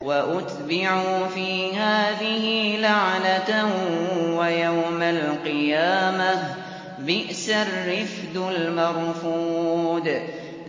وَأُتْبِعُوا فِي هَٰذِهِ لَعْنَةً وَيَوْمَ الْقِيَامَةِ ۚ بِئْسَ الرِّفْدُ الْمَرْفُودُ